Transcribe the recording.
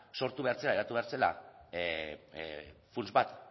sortu behar zela eratu behar zela funts bat